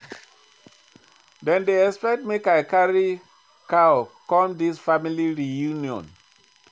Dem dey expect make I carry cow come dis family reunion.